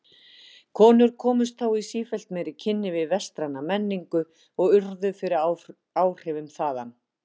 Konur komust þá í sífellt meiri kynni við vestræna menningu og urðu fyrir áhrifum þaðan.